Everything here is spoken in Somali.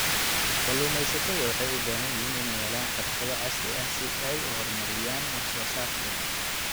Kalluumeysatada waxay u baahan yihiin inay helaan xirfado casri ah si ay u horumariyaan wax soo saarkooda.